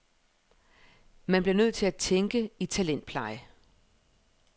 Man bliver nødt til at tænke i talentpleje.